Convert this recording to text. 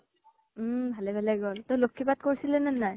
উম ভালে ভালে গল। তই লক্ষী পাঠ কৰিছিলে নে নাই?